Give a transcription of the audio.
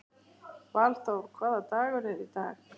Valþór, hvaða dagur er í dag?